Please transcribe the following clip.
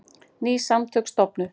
Ný samtök stofnuð